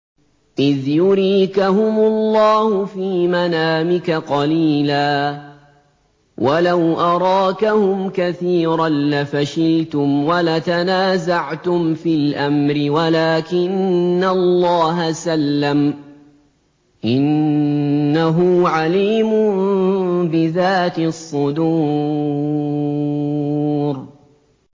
إِذْ يُرِيكَهُمُ اللَّهُ فِي مَنَامِكَ قَلِيلًا ۖ وَلَوْ أَرَاكَهُمْ كَثِيرًا لَّفَشِلْتُمْ وَلَتَنَازَعْتُمْ فِي الْأَمْرِ وَلَٰكِنَّ اللَّهَ سَلَّمَ ۗ إِنَّهُ عَلِيمٌ بِذَاتِ الصُّدُورِ